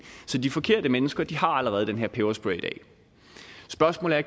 så de forkerte mennesker har allerede den her peberspray i dag spørgsmålet er